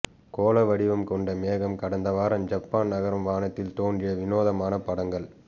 கோள வடிவம் கொண்ட மேகம் கடந்த வாரம் ஜப்பான் நகரம் வானத்தில் தோன்றிய வினோதமான படங்கள்